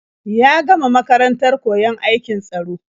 Ya gama makarantar koyon aikin tsaro.